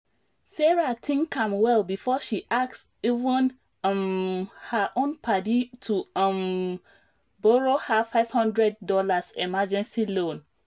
sarah think am well before she ask even um her own padi to um borrow her five hundred dollars emergency loan